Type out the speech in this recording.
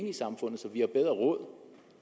i samfundet så vi har bedre råd